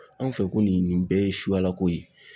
Anw fɛ ko nin nin bɛɛ ye suyalako ye